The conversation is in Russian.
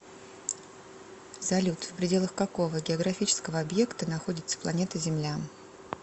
салют в пределах какого географического объекта находится планета земля